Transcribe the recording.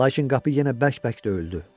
Lakin qapı yenə bərk-bərk döyüldü.